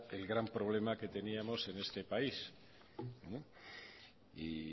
el gran problema que teníamos en este país